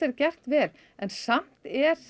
gert vel en samt er